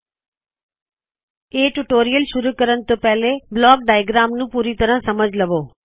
ਸਾੱਡਾ ਸੁਝਾਵ ਹੈ ਕਿ ਇਸ ਟਿਊਟੋਰੀਅਲ ਨੂੰ ਸ਼ੁਰੂ ਕਰਣੇ ਤੋ ਪਹਲੋ ਬਲੌਕ ਡਾਇਆਗ੍ਰਾਮ ਟਿਊਟੋਰੀਅਲ ਨੂੰ ਪੂਰੀ ਤਰਹ ਸਮਝ ਲਵੋ